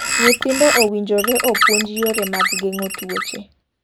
Nyithindo owinjore opuonji yore mag geng'o tuoche.